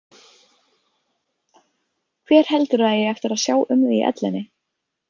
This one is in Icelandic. Hver heldurðu að eigi eftir að sjá um þig í ellinni?